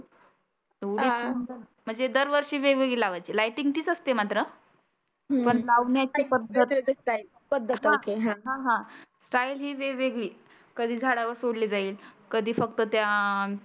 तेव्हढा दर वर्षी वेग वेगळी लावायची. लायटींग तीच असते मात्र पण लावण्याची पद्धत पध्दत असते. स्टाईल ही वेगवेगळी. कधी झाडावर सोडली जाईल. कधी फक्त त्या